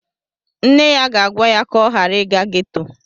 Nne ya ga-agwa ya ka ọ ghara ịga ghetto